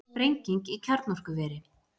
Sprenging í kjarnorkuveri